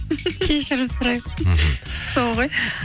кешірім сұраймын мхм сол ғой